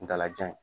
Ntala jan